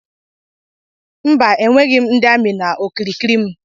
Mba enweyi ndi ami na okirikiri mụ.